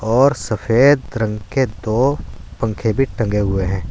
और सफेद रंग के दो पंखे भी टंगे हुए हैं।